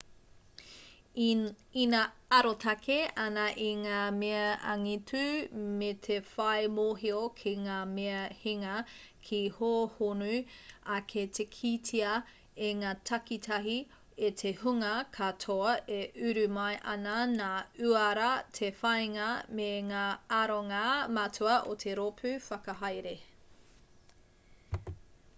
ina arotake ana i ngā mea angitu me te whai mōhio ki ngā mea hinga ka hōhonu ake te kitea e ngā takitahi e te hunga katoa e uru mai ana ngā uara te whāinga me ngā aronga matua o te rōpū whakahaere